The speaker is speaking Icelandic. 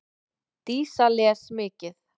Dísa les mikið.